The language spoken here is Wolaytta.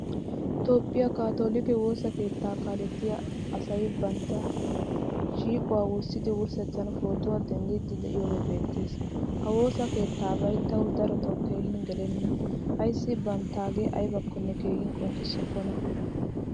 Toophphiyaa katolikke woosaa keetta kaalettiyaa asay bantta shiiquwaa wurssidi wurssettan pootuwaa denddidi de'iyogee beetees. Ha woosaa keettabay tawu darotto keehin gelena. Aysi banttage aybakkone keehin qonccisokona.